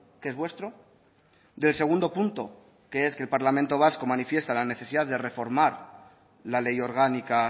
que es vuestro del segundo punto que es que el parlamento vasco manifiesta la necesidad de reformar la ley orgánica